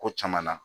Ko caman na